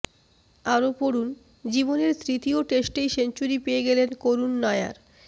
আরও পড়ুন জীবনের তৃতীয় টেস্টেই সেঞ্চুরি পেয়ে গেলেন করুন নায়ার